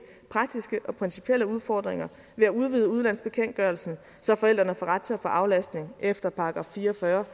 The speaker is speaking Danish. praktiske og principielle udfordringer ved at udvide udlandsbekendtgørelsen så forældrene får ret til at få aflastning efter § fire og fyrre